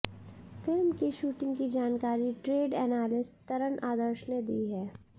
film की shooting की जानकारी ट्रेड एनालिस्ट तरण आदर्श ने दी है